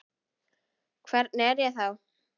Hvernig er ég þá?